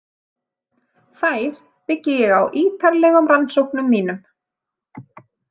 Þær byggi ég á ítarlegum rannsóknum mínum.